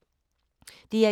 DR1